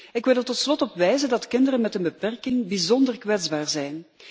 Ik wil er tot slot op wijzen dat kinderen met een beperking bijzonder kwetsbaar zijn.